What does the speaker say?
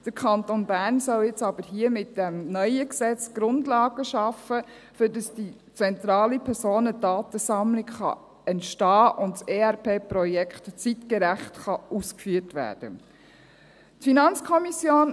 Der Kanton Bern soll jetzt aber mit diesem neuen Gesetz die Grundlagen schaffen, damit diese zentrale Personendatensammlung entstehen kann und das ERP-Projekt zeitgerecht ausgeführt werden kann.